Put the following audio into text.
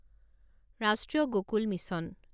ৰাষ্ট্ৰীয় গকুল মিছন